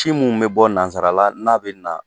Si mun bɛ bɔ nansarala n'a bɛ na